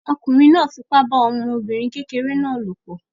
Ọkùnrin náà fipá bá ọmọbìnrin kékeré náà lòpọ̀